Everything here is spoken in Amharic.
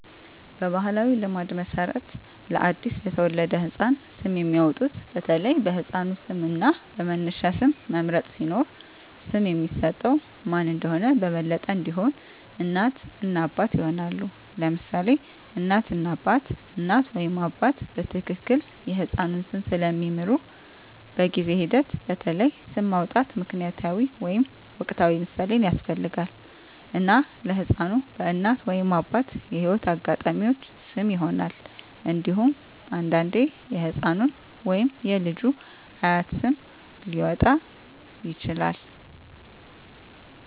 በባሕላዊ ልማድ መሠረት ለአዲስ የተወለደ ህፃን ስም የሚያወጡት በተለይ በሕፃኑ ስም እና በመነሻ ስም መምረጥ ሲኖር፣ ስም የሚሰጠው ማን እንደሆነ በበለጠ እንዲሆን፣ እናት እና አባት ይሆናሉ: ለምሳሌ እናት እና አባት: እናት ወይም አባት በትክክል የሕፃኑን ስም ስለሚምሩ፣ በጊዜ ሂደት በተለይ ስም ማውጣት ምክንያታዊ ወይም ወቅታዊ ምሳሌን ያስፈልጋል፣ እና ለሕፃኑ በእናት ወይም አባት የህይወት አጋጣሚዎች ስም ይሆናል። እንዴሁም አንዳንዴ የህፃኑ ወይም የልጁ አያት ስም ሊያወጣ ይችላል።